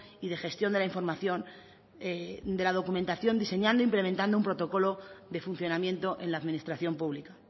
y de gestión de la información de la documentación diseñando implementando un protocolo de funcionamiento en la administración pública